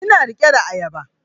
Ina riƙe da ayaba